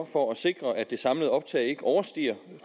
for at sikre at det samlede optag ikke overstiger